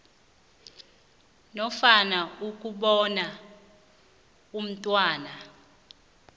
nofana ukubona umntwana